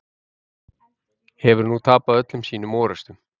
Hefur tapað öllum sínum orrustum.